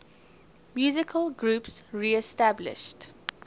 musical groups reestablished